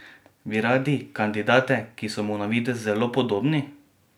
Bi radi kandidate, ki so mu na videz zelo podobni?